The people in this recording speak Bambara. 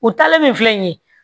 U taalen min filɛ nin ye